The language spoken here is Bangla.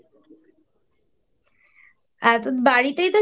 আর তো বাড়িতেই তো